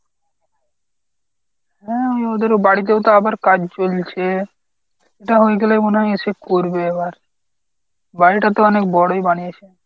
হ্যাঁ ওই ওদের ও বাড়িতেও তো আবার কাজ চলছে এটা হয়ে গেলে মনে হয় এসে করবে এবার। বাড়িটা তো অনেক বড়ই বানিয়েছে।